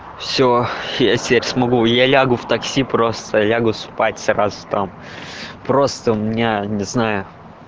все я теперь смогу я лягу в такси просто лягу спать сразу там просто у меня не знаю